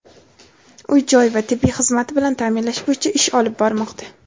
uy-joy va tibbiy xizmati bilan ta’minlash bo‘yicha ish olib bormoqda.